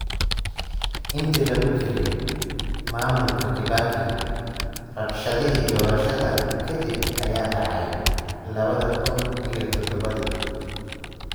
Intii lagu jiray maamulka Kibaki, rabshadihii doorashada ka dib ayaa dhacay lawada kuun iyo todabodii.